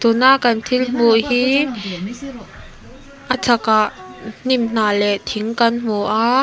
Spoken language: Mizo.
tuna kan thil hmuh hi a chhakah hnim hnah leh thing kan hmu a.